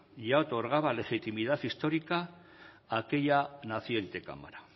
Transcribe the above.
ya otorgaba legitimidad histórica a aquella naciente cámara